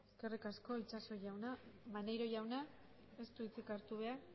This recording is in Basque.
eskerrik asko itxaso jauna maneiro jaunak ez du hitzik hartu behar